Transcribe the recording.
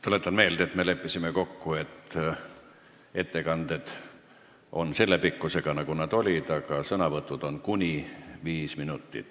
Tuletan meelde, et me leppisime kokku, et ettekanded on selle pikkusega, nagu nad olid, aga sõnavõtud on kuni viis minutit.